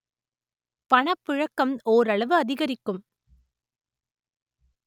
பணப்புழக்கம் ஓரளவு அதிகரிக்கும்